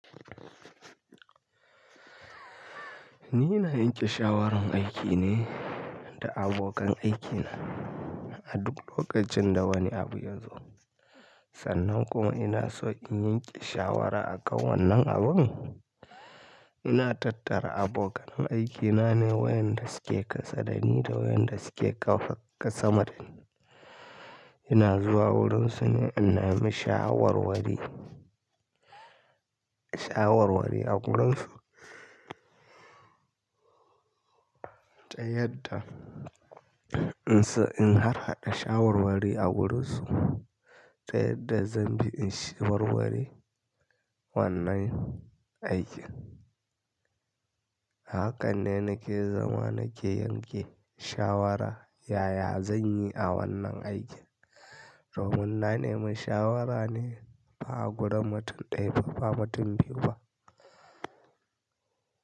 Ni ina yanke shawaran aiki ne da abokan aikina a duk lokacin da wani abu ya zo. Sannan kuma in ina so in yanke shawara akan wannan abun. Ina tattara abokan aikina ne wa'yanda suke ƙasa da ni da wa'yanda suke ƙafa sa ma dani. Ina zuwa wurinsu ne in nemi shawarwari, shawarwari a wurinsu. Ta yadda in so in harhaɗa shawarwari a wurinsu ta yadda zan bi in shawarwari wannan aikin. Hakan ne nake zama nake yanke shawara yaya zan yi a wannan aikin. Domin na nemi shawara ne ba a gurin mutum ɗaya ba, ba mutu biyu ba.